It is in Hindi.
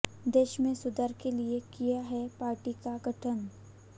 देश में सुधार के लिए किया है पार्टी का गठन